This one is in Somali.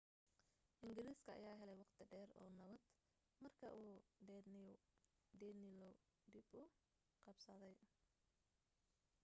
engiriiska ayaa helay waqti dheer oo nabad marka uu danelaw dib u qabsaday